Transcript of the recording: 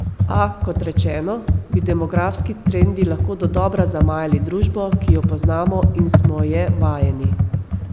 A, kot rečeno, bi demografski trendi lahko dodobra zamajali družbo, ki jo poznamo in smo je vajeni.